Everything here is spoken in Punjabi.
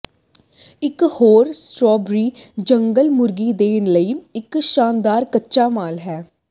ਇੱਕ ਹੋਰ ਸਟਰਾਬਰੀ ਜੰਗਲ ਮੁਰਗੀ ਦੇ ਲਈ ਇੱਕ ਸ਼ਾਨਦਾਰ ਕੱਚਾ ਮਾਲ ਹੈ